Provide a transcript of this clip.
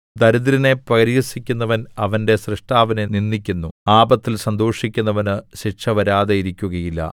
ദരിദ്രനെ പരിഹസിക്കുന്നവൻ അവന്റെ സ്രഷ്ടാവിനെ നിന്ദിക്കുന്നു ആപത്തിൽ സന്തോഷിക്കുന്നവന് ശിക്ഷ വരാതിരിക്കുകയില്ല